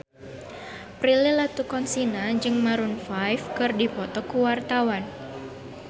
Prilly Latuconsina jeung Maroon 5 keur dipoto ku wartawan